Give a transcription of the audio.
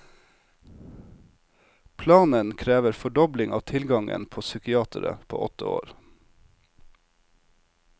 Planen krever fordobling av tilgangen på psykiatere på åtte år.